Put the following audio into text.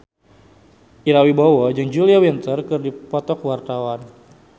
Ira Wibowo jeung Julia Winter keur dipoto ku wartawan